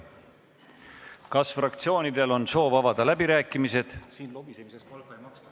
Kas fraktsioonidel on soovi avada läbirääkimisi?